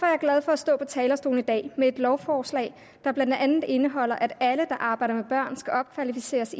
jeg glad for at stå på talerstolen i dag med et lovforslag der blandt andet indeholder at alle der arbejder med børn skal opkvalificeres